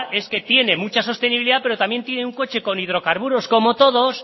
es que tienen mucha sostenibilidad pero también tiene un coche con hidrocarburos como todos